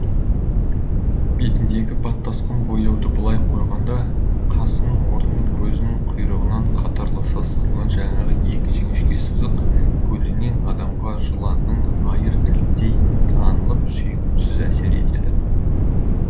бетіндегі баттасқан бояуды былай қойғанда қасының орны мен көзінін құйрығынан қатарласа сызылған жаңағы екі жіңішке сызық көлденең адамға жыланның айыр тіліндей танылып сүйкімсіз әсер етеді